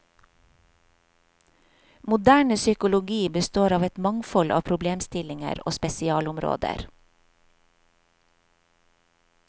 Moderne psykologi består av et mangfold av problemstillinger og spesialområder.